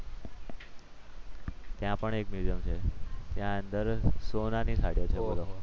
ત્યાં પણ એક મ્યુઝિયમ છે. ત્યાં અંદર સોનાની થાળીઓ છે.